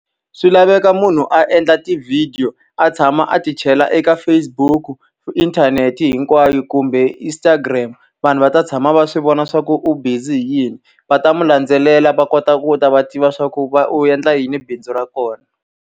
Swi laveka munhu a endla tivhidiyo a tshama a ti chela eka Facebook-u, inthanete hinkwayo, kumbe Instagram. Vanhu va ta tshama va swi vona swa ku u busy hi yini, va ta n'wi landzelela va kota ku ta va tiva leswaku va u endla yini bindzu ra kona.